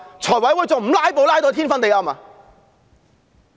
財務委員會還不"拉布"拉到天昏地暗嗎？